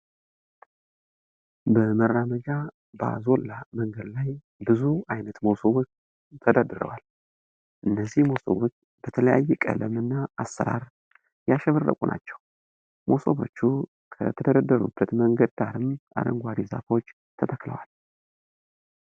በመራመጃ ባዞላ መንገድ ላይ ብዙ አይነት መሶቦች ተደርድረዋል። እነዚህ መሶቦች በተለያየ ቀለም እና አሰራር ያሸበረቁ ናቸው። መሶቦቹ ከተደረደሩበት መንገድ ዳርም አረንጓዴ ዛፎች ተተክለዋል።